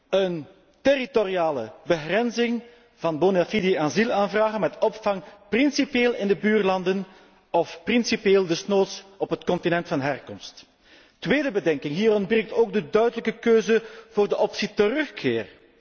Een territoriale begrenzing van bonafide asielaanvragen met opvang, principieel in de buurlanden of principieel desnoods op het continent van herkomst. Tweede bedenking. Er ontbreekt ook een duidelijke keuze voor de optie 'terugkeer'.